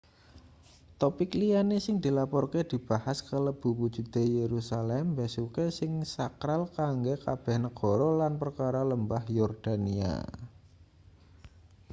topik liyane sing dilaporke dibahas kalebu wujude yerusalem mbesuke sing sakral kanggo kabeh negara lan perkara lembah yordania